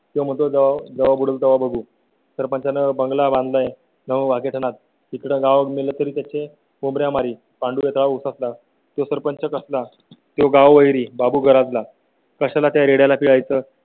बंगला बांधला आहे. नऊ घेताना तिकडे गाव मिल तरी त्याचे कोब्रा मारी पाळसा च्या सरपंच असला तळेगाव हरी बाबू घरात ला कशा ला त्याला प्याय चं